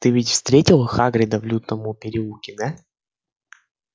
ты ведь встретил хагрида в лютном переулке да